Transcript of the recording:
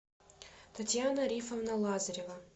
татьяна рифовна лазарева